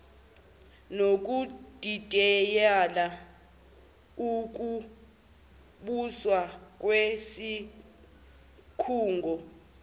nokudidiyela ukubuswa kwesikhungo